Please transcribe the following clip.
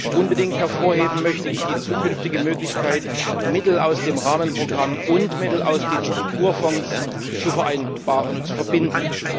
Unbedingt hervorheben möchte ich die zukünftige Möglichkeit, Mittel aus dem Rahmenprogramm und Mittel aus den Strukturfonds miteinander zu verbinden.